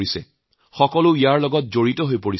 ইয়াৰ সৈতে সকলোৱে নিজকে জড়িত কৰিছে